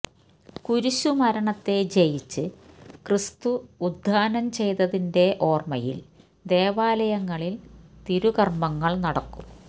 കുരിശുമരണത്തെ ജയിച്ച് ക്രിസ്തു ഉത്ഥാനം ചെയ്തതിന്റെ ഓര്മയില് ദേവാലയങ്ങളില് തിരുക്കര്മങ്ങള് നടക്കും